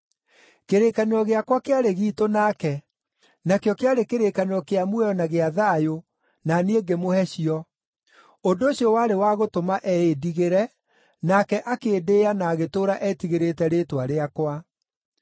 “Kĩrĩkanĩro gĩakwa kĩarĩ giitũ nake, nakĩo kĩarĩ kĩrĩkanĩro kĩa muoyo na gĩa thayũ, na niĩ ngĩmũhe cio; ũndũ ũcio warĩ wa gũtũma eĩndigĩre, nake akĩndĩĩa na agĩtũũra etigĩrĩte rĩĩtwa rĩakwa.